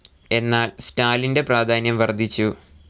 എന്നാൽ സ്റ്റാലിൻ്റെ പ്രാധാന്യം വർധിച്ചു.